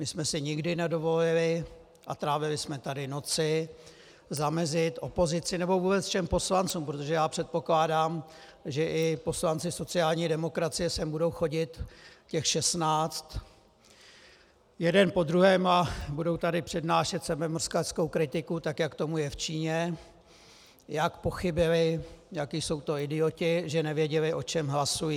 My jsme si nikdy nedovolili, a trávili jsme tady noci, zamezit opozici, nebo vůbec všem poslancům, protože já předpokládám, že i poslanci sociální demokracie sem budou chodit, těch 16, jeden po druhém, a budou tady přednášet sebemrskačskou kritiku tak, jak tomu je v Číně, jak pochybili, jací jsou to idioti, že nevěděli, o čem hlasují.